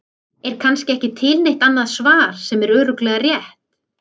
En kannski er ekki til neitt annað svar sem er örugglega rétt.